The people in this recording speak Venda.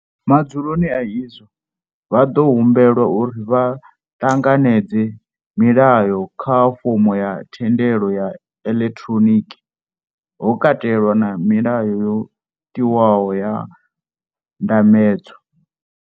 Madzuloni a izwo, vha ḓo humbelwa uri vha tanganedze milayo kha fomo ya thendelo ya elektroniki, ho katelwa na milayo yo tiwaho ya ndambedzo.